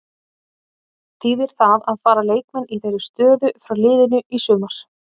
Þýðir það að fara leikmenn í þeirri stöðu frá liðinu í sumar?